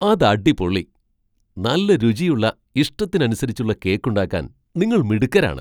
അത് അടിപൊളി ! നല്ല രുചിയുള്ള ഇഷ്ടത്തിന് അനിസരിച്ചുള്ള കേക്കുണ്ടാക്കാൻ നിങ്ങൾ മിടുക്കരാണ്.